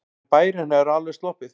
En bærinn hefur alveg sloppið.